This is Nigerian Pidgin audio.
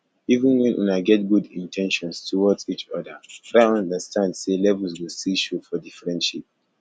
even when una get good in ten tions towards each oda try understand sey levels go still show for di friendship